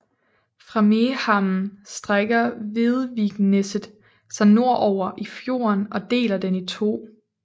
Fra Mehamn strækker Vedvikneset sig nordover i fjorden og deler den i to